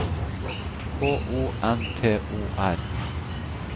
K O N T O R